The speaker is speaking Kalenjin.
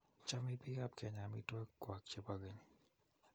Choemei biikab kenya amitwoki kwak che bo keny.